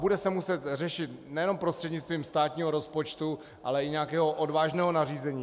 Bude se muset řešit nejenom prostřednictvím státního rozpočtu, ale i nějakého odvážného nařízení.